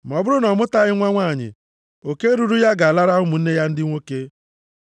Ma ọ bụrụ na ọ mụtaghị nwa nwanyị, oke ruru ya ga-alara ụmụnne ya ndị nwoke.